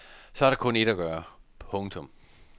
Så er der kun ét at gøre. punktum